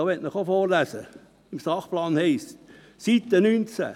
– Dazu möchte ich Ihnen auch etwas aus dem Sachplan, Seite 19, vorlesen: